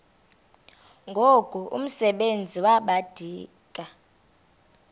ngoku umsebenzi wabadikoni